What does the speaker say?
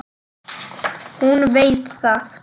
Hún veit það.